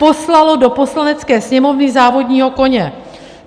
Poslalo do Poslanecké sněmovny závodního koně.